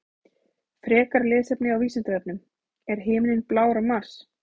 Frekara lesefni á Vísindavefnum: Er himinninn blár á Mars?